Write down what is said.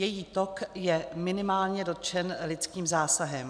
Její tok je minimálně dotčen lidským zásahem.